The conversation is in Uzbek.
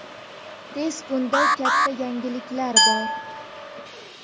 Tez kunda katta yangiliklar bor.